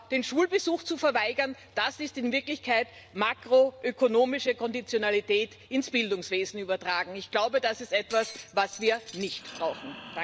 den Schulbesuch zu verweigern Das ist in Wirklichkeit makroökonomische Konditionalität ins Bildungswesen übertragen. Ich glaube, das ist etwas, was wir nicht brauchen.